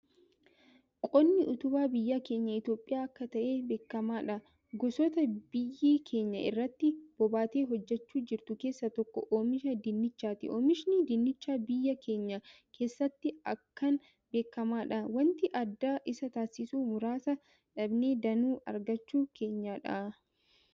Qonni utubaa biyya keenya Itoophiyaa akka ta'e beekamaadha, gosoota biyyi keenya irratti bobbaatee hojjechaa jirtu keessa tokko oomisha dinnichaati oomishni dinnichaa biyya keenya keessatti akkaan beekamaadha. waanti adda isa taasisu muraasa dhaabnee danuu argachuu keenyadha.